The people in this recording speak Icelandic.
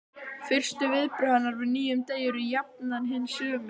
Fyrstu viðbrögð hennar við nýjum degi eru jafnan hin sömu.